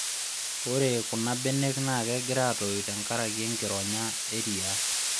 Ore kunabenek naa kegira aatoyu tekenkaraki enkironya eriaa